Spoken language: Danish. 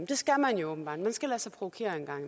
det skal man jo åbenbart man skal lade sig provokere en gang